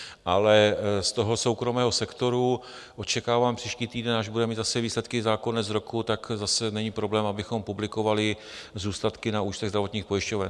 Ale z toho soukromého sektoru očekávám příští týden, až bude mít zase výsledky za konec roku, tak zase není problém, abychom publikovali zůstatky na účtech zdravotních pojišťoven.